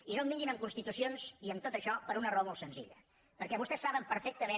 i no em vinguin amb constitucions ni amb tot això per una raó molt senzilla perquè vostès saben perfectament